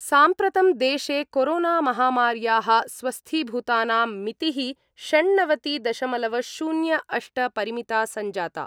साम्प्रतं देशे कोरोना-महामार्याः स्वस्थीभूतानां मिति: षण्णवति दशमलव शून्य अष्ट परिमिता सञ्जाता।